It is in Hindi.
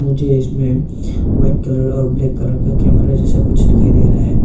जो इसमे वाइट कलर और ब्लैक कलर का कैमरा जैसा कुछ दिखाई दे रहा है।